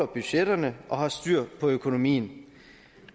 budgetterne og har styr på økonomien